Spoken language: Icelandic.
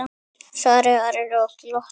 svaraði Ari og glotti.